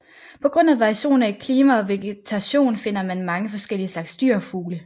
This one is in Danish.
På grund af variationer i klima og vegetation finder man mange forskellige slags dyr og fugle